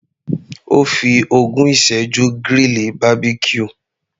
Ó fi ogún ìsẹ́jú grill Barbecue.